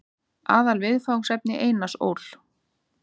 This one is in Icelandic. Aðalviðfangsefni Einars Ól.